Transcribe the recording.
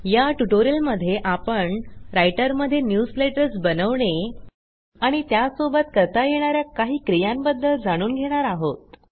या ट्युटोरियलमध्ये आपण रायटरमध्ये न्यूजलेटर्स बनवणे आणि त्यासोबत करता येणा या काही क्रियांबद्दल जाणून घेणार आहोत